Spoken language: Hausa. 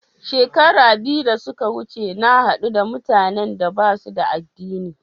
Shekara biyu da suka wuce na haɗu da mutanan da ba su da addini.